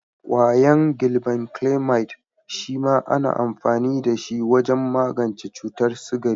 Ƙwayan Glibenclamide shema ana amfani da shi wajen magance cutar sigari.